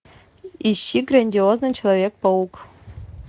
ищи грандиозный человек паук